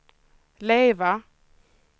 lever